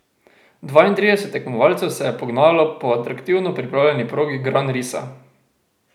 Dvaintrideset tekmovalcev se je pognalo po atraktivno pripravljeni progi Gran Risa.